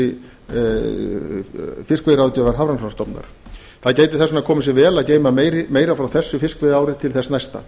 í ljósi fiskveiðiráðgjafar hafrannsóknastofnunar það gæti þess vegna komið sér vel að geyma meira frá þessu fiskveiðiári til þess næsta